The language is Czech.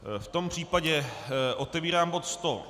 V tom případě otevírám bod